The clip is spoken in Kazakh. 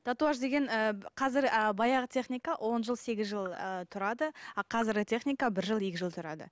татуаж деген ы қазір ы баяғы техника он жыл сегіз жыл ы тұрады а қазіргі техника бір жыл екі жыл тұрады